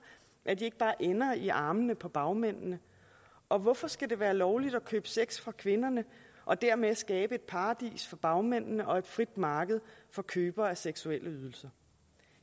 at de ikke bare ender i armene på bagmændene og hvorfor skal det være lovligt at købe sex for kvinderne og dermed skabe et paradis for bagmændene og et frit marked for købere af seksuelle ydelser